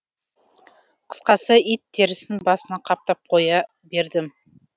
қысқасы ит терісін басына қаптап қоя бердім